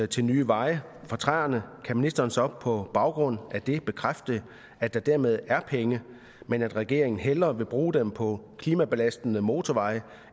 til nye veje fra træerne kan ministeren så på baggrund af det bekræfte at der dermed er penge men at regeringen hellere vil bruge dem på klimabelastende motorveje